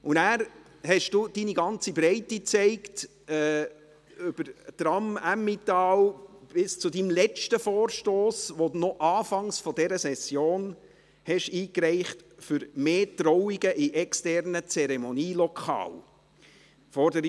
Danach zeigten Sie Ihre ganze Breite, vom «Tram Emmental» bis zu Ihrem letzten Vorstoss, den Sie noch Anfang der Session eingereicht haben und mit dem Sie «Mehr Trauungen in externen Zeremonielokalen»fordern.